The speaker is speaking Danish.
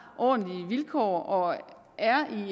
ordentlige vilkår og at det er